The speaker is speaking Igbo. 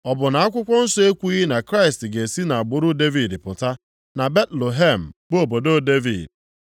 Ọ bụ na akwụkwọ nsọ ekwughị na Kraịst ga-esi nʼagbụrụ Devid pụta, na Betlehem bụ obodo Devid?”